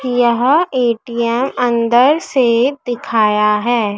यह ए_टी_एम अंदर से दिखाया है।